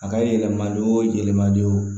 A ka yɛlɛma don yɛlɛma don